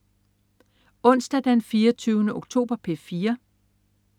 Onsdag den 24. oktober - P4: